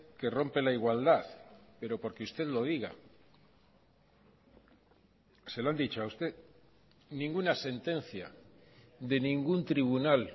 que rompe la igualdad pero porque usted lo diga se lo han dicho a usted ninguna sentencia de ningún tribunal